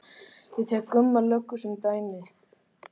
Ég tek Gumma löggu sem dæmi.